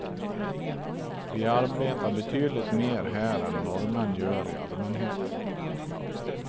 Vi arbetar betydligt mer här än norrmän gör i allmänhet.